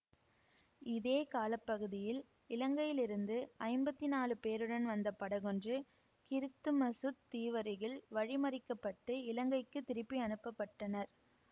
இதே கால பகுதியில் இலங்கையில் இருந்து ஐம்பத்தி நாழு பேருடன் வந்த படகொன்று கிறித்துமசுத் தீவருகில் வழிமறிக்கப்பட்டு இலங்கைக்குத் திருப்பி அனுப்ப பட்டனர்